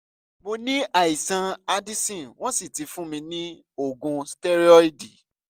mo ní àìsàn addison wọ́n sì ti fún mi ní oògùn stẹ́rọ́ìdì